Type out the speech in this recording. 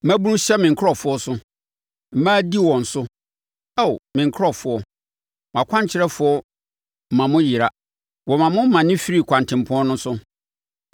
Mmabunu hyɛ me nkurɔfoɔ so, mmaa di wɔn so. Ao me nkurɔfoɔ, mo akwankyerɛfoɔ ma mo yera; wɔma mo mane firi kwantempɔn no so.